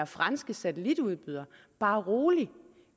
franske satellit tv udbyder bare rolig